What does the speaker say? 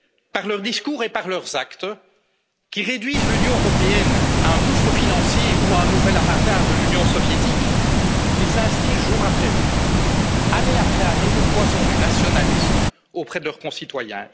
Par leurs discours et par leurs actes, qui réduisent l'Union européenne à un gouffre financier ou à un nouvel avatar de l'Union soviétique, ils instillent jour après jour, année après année, le poison du nationalisme chez leurs concitoyens